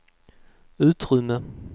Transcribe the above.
utrymme